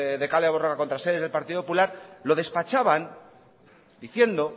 de kale borroka contra sedes del partido popular lo despachaban diciendo